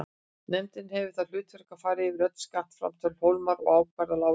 Nefndin hafði það hlutverk að fara yfir öll skattframtöl Hólmara og ákvarða álagningu.